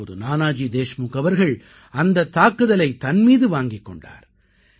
அப்போது நானாஜி தேஷ்முக் அவர்கள் அந்தத் தாக்குதலை தன் மீது வாங்கிக் கொண்டார்